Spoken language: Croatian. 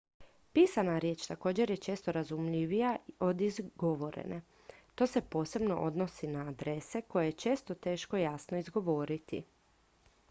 pisana riječ također je često razumljivija od izgovorene to se posebno odnosi na adrese koje je često teško jasno izgovoriti